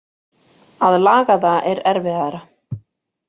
Að laga það er erfiðara.